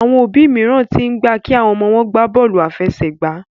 Àwọn òbí míràn t'in gbà kí àwọn ọmọ wón gbàbóòlù afẹsẹgba